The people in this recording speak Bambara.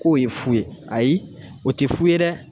K'o ye fu ye ayi o tɛ fu ye dɛ